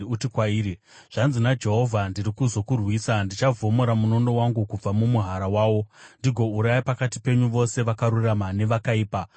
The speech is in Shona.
uti kwairi, ‘Zvanzi naJehovha: Ndiri kuzokurwisa. Ndichavhomora munondo wangu kubva mumuhara wawo ndigouraya pakati penyu vose vakarurama nevakaipa.